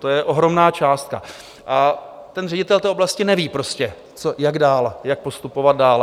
To je ohromná částka a ten ředitel té oblasti neví prostě jak dál, jak postupovat dál.